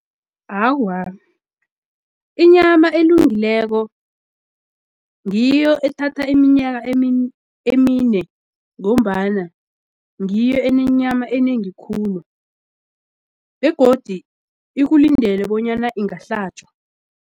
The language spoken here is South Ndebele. Awa, inyama elungileko ngiyo ethatha iminyaka emine ngombana ngiyo enenyama enengi khulu begodi ikulindele bonyana ingahlatjwa.